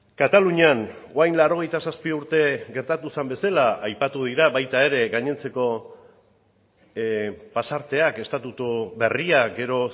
katalunian orain laurogeita zazpi urte gertatu zen bezala aipatu dira baita ere gainontzeko pasarteak estatutu berria gero